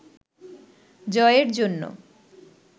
জয়ের জন্য